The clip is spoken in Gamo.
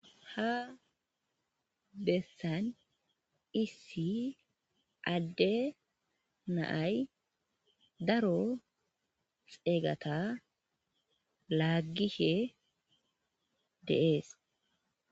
Ha bessan issi adde naay daro xeeygata laaggishe de7ees.